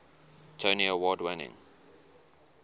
tony award winning